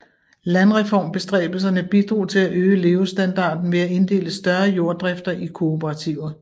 Landreformbestræbelserne bidrog til at øge levestandarden ved at inddele større jorddrifter i kooperativer